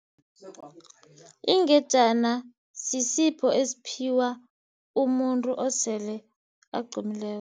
Ingejana sisipho esiphiwa umuntu osele agqumileko.